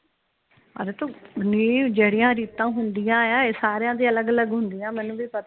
ਜੇਹੜੀਆਂ ਰੀਤਾ ਹੁੰਦੀਆਂ ਇਹ ਸਾਰਿਆਂ ਦੀ ਅਲਗ ਅਲਗ ਹੁੰਦੀਆਂ ਮੈਨੂੰ ਵੀ ਪਤਾ